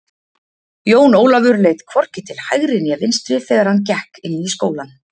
Jón Ólafur leit hvorki til hægri né vinstri þegar hann gekk inn í skólann.